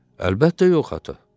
Əlbəttə yox, ata.